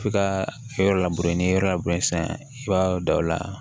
F'i ka yɔrɔ labure n'i ye yɔrɔ labure sisan i b'a da o la